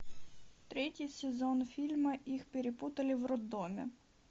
третий сезон фильма их перепутали в роддоме